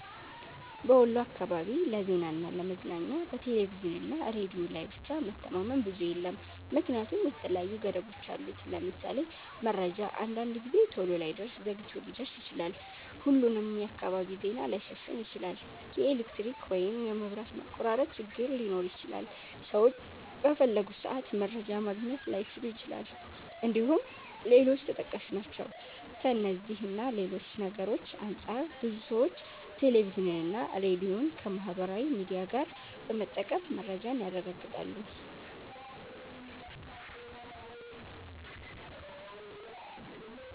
በወሎ አካባቢ ለዜናና ለ ለመዝናኛ በቴሌቪዥንና ሬዲዮ ላይ ብቻ መተማመን ብዙም የለም ምክንያቱም የተለያዩ ገደቦች አሉት። ለምሳሌ:- መረጃ አንዳንድ ጊዜ ቶሎ ላይደርስ ዘግይቶ ሊደርስ ይችላል፣፣ ሁሉንም የአካባቢ ዜና ላይሸፍን ይችላል፣ የኤሌክትሪክ ወይም የመብራት መቆራረጥ ችግር ሊኖር ይችላል፣ ሰዎች በፈለጉት ሰአት መረጃ ማግኘት ላይችሉ ይችላል እንድሁም ሌሎችም ተጠቃሽ ናቸው። ከእነዚህ እና ሌሎች ነገርሮች አንፃር ብዙ ሰዎች ቴሌቪዥንና ሬዲዮን ከማህበራዊ ሚዲያ ጋር በመጠቀም መረጃን ያረጋግጣሉ።